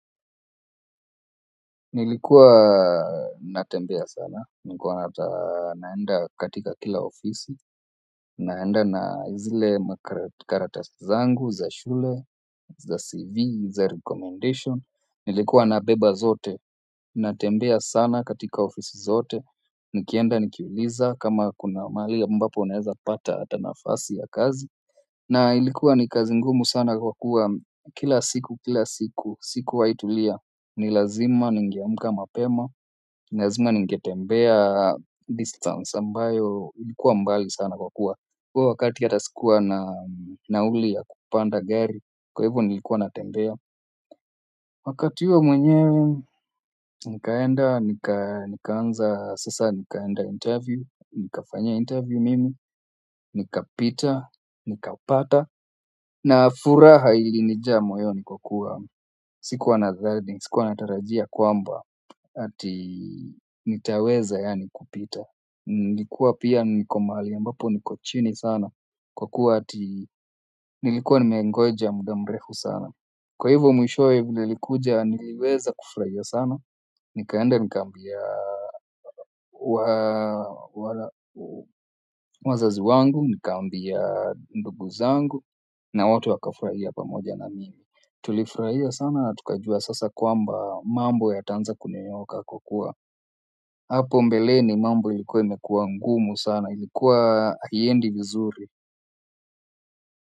Nilikuwa natembea sana, nikiwa naenda katika kila ofisi naenda na zile makaratasi zangu, za shule, za CV, za recommendation nilikuwa nabeba zote, natembea sana katika ofisi zote nikienda, nikiuliza, kama kuna mahali ambapo naezapata hata nafasi ya kazi na ilikuwa ni kazi ngumu sana kwa kuwa kila siku, kila siku, sikuwahitulia ni lazima ningeamka mapema ni lazima ningetembea distance ambayo ilikuwa mbali sana kwa kuwa huo wakati hata sikuwa na nauli ya kupanda gari kwa hivyo nilikuwa natembea wakati huo mwenye nikaenda. Nikaanza sasa nikaenda interview nikafanya interview mimi. Nikapita. Nikapata na furaha ilinijaa moyoni kwa kuwa sikuwa nadhani sikuwa natarajia kwamba ati nitaweza yaani kupita nikuwa pia niko mahali ambapo niko chini sana kwa kuwa ati nilikuwa nimengoja muda mrefu sana kwa hivo mwishowe vile ilikuja niliweza kufurahia sana nikaenda nikaambia wazazi wangu nikaambia ndugu zangu na wote wakafurahia pamoja na mimi tulifurahia sana na tukajua sasa kwamba mambo yataanza kunyooka kwa kuwa hapo mbeleni mambo ilikuwa imekuwa ngumu sana ilikuwa haiendi vizuri.